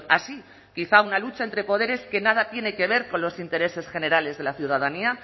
así quizá a una lucha entre poderes que nada tiene que ver con los intereses generales de la ciudadanía